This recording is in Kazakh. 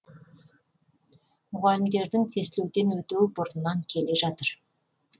мұғалімдердің тестілеуден өтуі бұрыннан келе жатыр